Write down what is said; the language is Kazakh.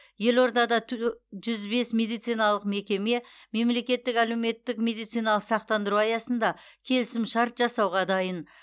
елордада тө жүз бес медициналық мекеме мемлекеттік әлеуметтік медициналық сақтандыру аясында келісімшарт жасауға дайын